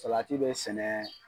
Salati bɛ sɛnɛ